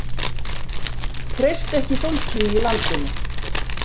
Treystu ekki fólkinu í landinu